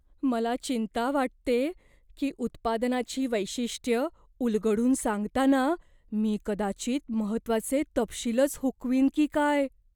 मला चिंता वाटतेय की उत्पादनाची वैशिष्ट्यं उलगडून सांगताना मी कदाचित महत्त्वाचे तपशीलच हुकवीन की काय!